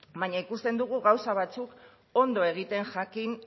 baina ikusten dugu gauza batzuk ondo egiten jakin